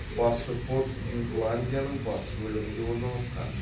басты порт ютландияның батыс бөлігінде орналасқан